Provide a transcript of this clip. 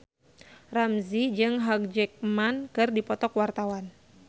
Ramzy jeung Hugh Jackman keur dipoto ku wartawan